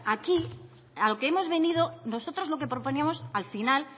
aquí a lo que hemos venido nosotros lo que proponíamos al final